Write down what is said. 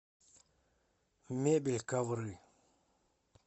мебель ковры